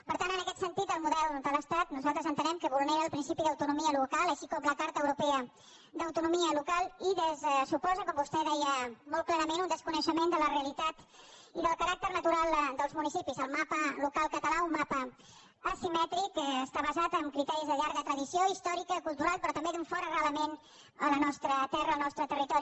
per tant en aquest sentit el model de l’estat nosaltres entenem que vulnera el principi d’autonomia local així com la carta europea d’autonomia local i suposa com vostè deia molt clarament un desconeixement de la realitat i del caràcter natural dels municipis el mapa local català un mapa asimètric que està basat en criteris de llarga tradició històrica cultural però també d’un fort arrelament a la nostra terra al nostre territori